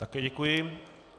Také děkuji.